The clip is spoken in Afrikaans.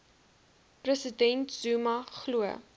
president zuma glo